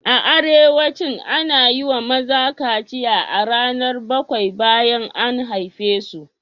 A arewacin, ana yi wa maza kaciya a ranar bakwai bayan an haife su.